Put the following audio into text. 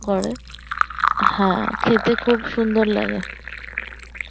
করে হ্যাঁ খেতে খুব সুন্দর লাগে